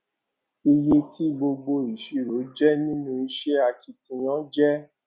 iye tí gbogbo ìṣirò jẹ nínú iṣẹ akitiyan jẹ